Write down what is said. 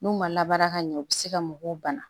N'u ma labaara ka ɲɛ u bɛ se ka mɔgɔw bana